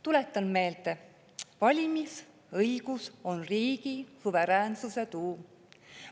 Tuletan meelde: valimisõigus on riigi suveräänsuse tuum.